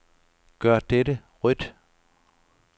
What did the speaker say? Gør dette rødt.